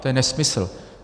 To je nesmysl.